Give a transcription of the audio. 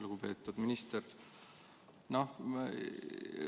Lugupeetud minister!